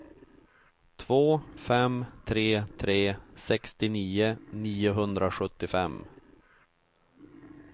två fem tre tre sextionio niohundrasjuttiofem